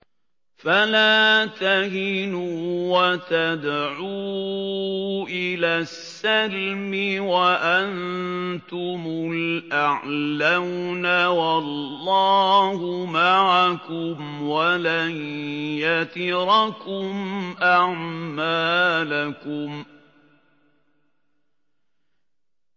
فَلَا تَهِنُوا وَتَدْعُوا إِلَى السَّلْمِ وَأَنتُمُ الْأَعْلَوْنَ وَاللَّهُ مَعَكُمْ وَلَن يَتِرَكُمْ أَعْمَالَكُمْ